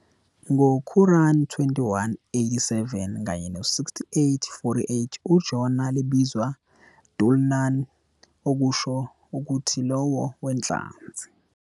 Ngo Quran 21 - 87 kanye 68 - 48, uJona libizwa Dhul-Nun, okusho ukuthi "Lowo weNhlanzi".